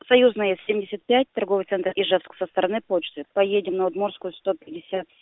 союзная семьдесят пять торговый центр ижевск со стороны почты поедем на удмуртскую сто пятьдесят